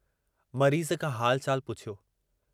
मरीज़ खां हालु चालु पुछियो।